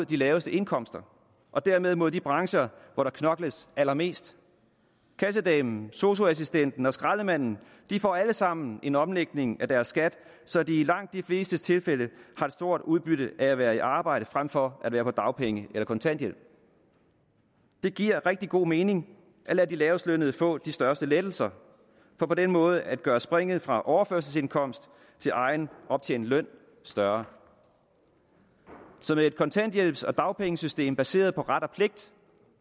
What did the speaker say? de laveste indkomster og dermed mod de brancher hvor der knokles allermest kassedamen sosu assistenten og skraldemanden får alle sammen en omlægning af deres skat så de i langt de fleste tilfælde har stort udbytte af at være i arbejde frem for at være på dagpenge eller kontanthjælp det giver rigtig god mening at lade de lavestlønnede få de største lettelser for på den måde at gøre springet fra overførselsindkomst til egen optjent løn større så med et kontanthjælps og dagpengesystem baseret på ret og pligt